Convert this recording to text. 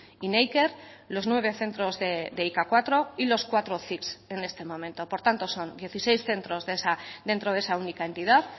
y neiker los nueve centros de i ka cuatro y los cuatro en este momento por tanto son dieciséis centros dentro de esa única entidad